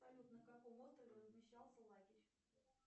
салют на каком острове размещался лагерь